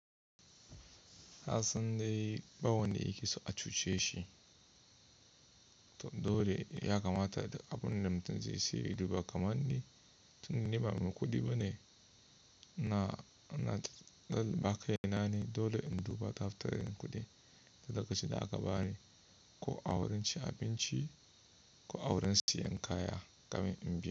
Kasan dai bawan da yake so a cuce shi, to dole ya kamata duk abun da mutum zai saye ya duba kamar ni tun da ni ba maikuɗi bane. Na, na ba kai na ne dole in duba dafatarin kuɗi daga shida aka bani ko awurin cin abinci ko awurin siyan kaya kamar in bi.